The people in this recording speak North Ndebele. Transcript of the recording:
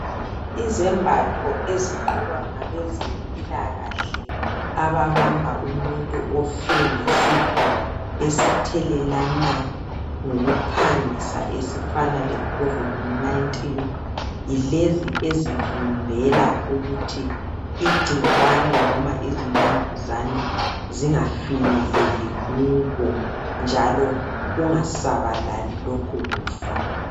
Izembatho ezigqokwa ngabezempilakahle ababamba umuntu ofe ngesifo esithelelana ngokuphangisa esifana lecovid 19. Yilezi ezivikela ukuthi igcikwane kumbe izinambuzane kungafinyeleli kubo, njalo kungasabalali lokhu kufa.